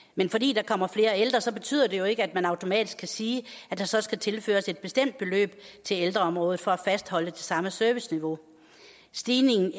men fordi der kommer flere ældre betyder det jo ikke at man automatisk kan sige at der så skal tilføres et bestemt beløb til ældreområdet for at fastholde det samme serviceniveau stigningen i